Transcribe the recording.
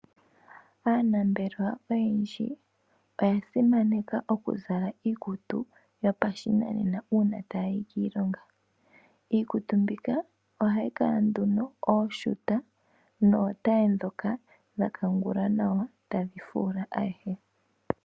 Aanambelwa oyendji oya simaneka okuzala iikutu yopashinanena uuna taya yi kiilonga. Iikutu mbika ohayi kala nduno ooshuta nootaye dha kangulwa nawa tadhi fula ayehe.